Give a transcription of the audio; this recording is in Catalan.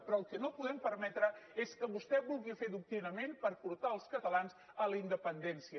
però el que no podem permetre és que vostè vulgui fer adoctrinament per portar els catalans a la independència